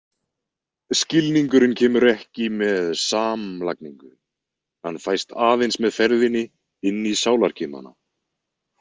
Skilningurinn kemur ekki með samlagningu, hann fæst aðeins með ferðinni inn í sálarkimana.